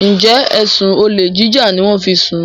njé ẹsùn olè jíjà ní wón fí ń sún?